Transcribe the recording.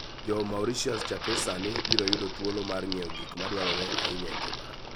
Jo - Mauritius chakre sani biro yudo thuolo mar ng'iewo gik madwarore ahinya e ngima